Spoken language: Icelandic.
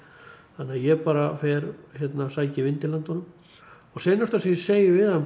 þannig að ég bara fer og sæki vindil handa honum og seinasta sem ég segi við hann